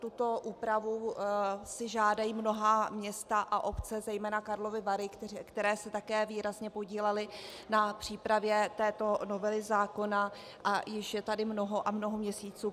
Tuto úpravu si žádají mnohá města a obce, zejména Karlovy Vary, které se také výrazně podílely na přípravě této novely zákona, a již je tady mnoho a mnoho měsíců.